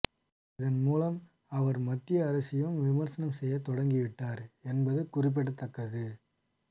இதன்மூலம் அவர் மத்திய அரசையும் விமர்சனம் செய்ய தொடங்கிவிட்டார் என்பது குறிப்பிடத்தக்கது